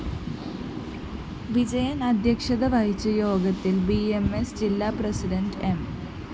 വിജയന്‍ അദ്ധ്യക്ഷത വഹിച്ച യോഗത്തില്‍ ബി എം സ്‌ ജില്ലാ പ്രസിഡന്റ് എം